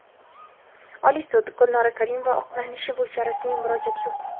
Oliy sud: Gulnora Karimova oqlanishi bo‘yicha rasmiy murojaat yo‘q .